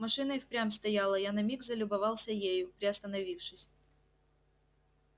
машина и впрямь стояла я на миг залюбовался ею приостановившись